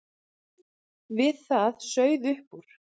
Við það sauð upp úr.